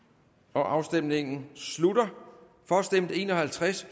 afstemningen slutter for stemte en og halvtreds